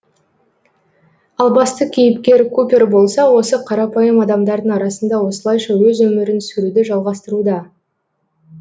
ал басты кейіпкер купер болса осы қарапайым адамдардың арасында осылайша өз өмірін сүруді жалғастыруда